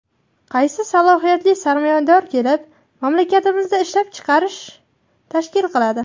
Qaysi salohiyatli sarmoyador kelib mamlakatimizda ishlab chiqarish tashkil qiladi?